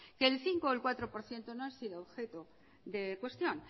que el cinco o el cuatro por ciento no ha sido objeto de cuestión